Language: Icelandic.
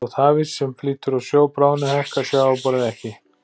Þótt hafís sem flýtur á sjó bráðni hækkar sjávarborðið ekki.